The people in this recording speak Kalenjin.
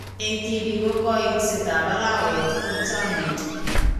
Eng' tibik ko kaiksetab arawet ko chang'itu.